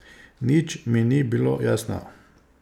Nič mi ni bilo jasno.